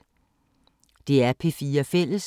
DR P4 Fælles